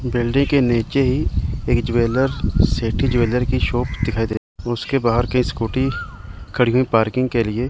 Building के नीचे ही एक ज्वेलर्स सिटी ज्वेलर की शॉप दिखाई दे उसके बाहर की स्कूटी खड़ी हुई पार्किंग के लिए।